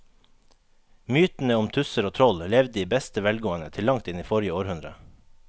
Mytene om tusser og troll levde i beste velgående til langt inn i forrige århundre.